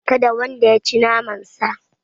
Kada wanda yaci naman sa